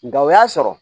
Nka o y'a sɔrɔ